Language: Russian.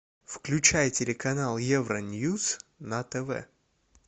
включай телеканал евроньюс на тв